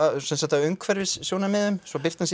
af umhverfissjónarmiðum svo birtan sé